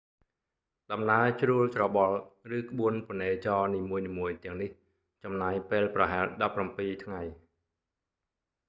ដំណើរជ្រួលច្របល់ ឬ ក្បួនពនេចរនីមួយៗទាំងនេះចំណាយពេលប្រហែល 17 ថ្ងៃ